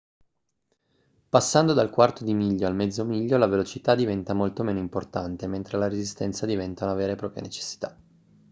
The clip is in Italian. passando dal quarto di miglio al mezzo miglio la velocità diventa molto meno importante mentre la resistenza diventa una vera e propria necessità